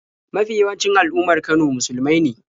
Mafi yawancin al'ummar Kano musulmai ne.